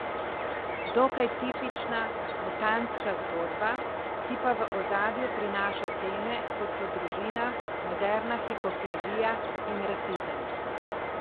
Dokaj tipična mutantska zgodba, ki pa v ozadju prinaša teme, kot so družina, moderna hipokrizija in rasizem.